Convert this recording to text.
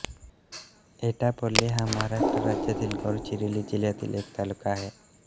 एटापल्ली हा महाराष्ट्र राज्यातील गडचिरोली जिल्ह्यातील एक तालुका आहे